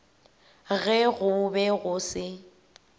ge go be go se